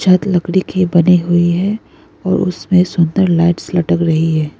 छत लकड़ी के बनी हुई हैं और उसमें सुंदर लाइटस लटक रही है।